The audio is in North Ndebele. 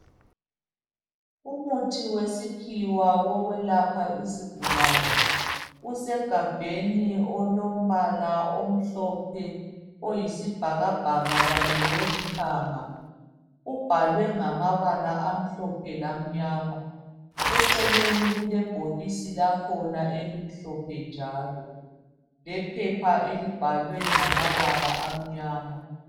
Umuthi wesikhiwa wokwelapha izigulani usegabheni olombala omhlophe oyisibhakabhaka kanye lolithanga ubhalwe ngamabala amhlophe lamnyama eceleni kule bhokisi lakhona elimhlophe njalo lephepha elibhalwe ngamabala amnyama.